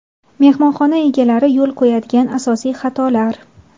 Mehmonxona egalari yo‘l qo‘yadigan asosiy xatolar.